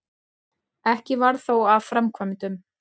Ekki varð þó af framkvæmdum.